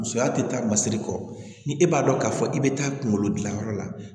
Musoya tɛ taa masiri kɔ ni e b'a dɔn k'a fɔ i bɛ taa kunkolo gilan yɔrɔ la